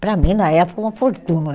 Para mim, na época, uma fortuna.